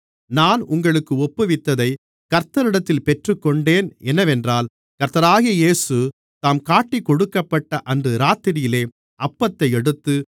நான் உங்களுக்கு ஒப்புவித்ததைக் கர்த்தரிடத்தில் பெற்றுக்கொண்டேன் என்னவென்றால் கர்த்தராகிய இயேசு தாம் காட்டிக்கொடுக்கப்பட்ட அன்று இராத்திரியிலே அப்பத்தை எடுத்து